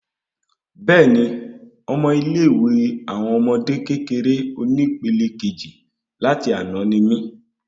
Béèni, Ọmọ ilé ìwé àwọn ọmọdé kékeré oni pẹlẹ Kejì láti àná ni mí